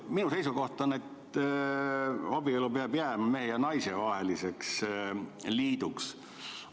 Minu seisukoht on, et abielu peab jääma mehe ja naise vaheliseks liiduks.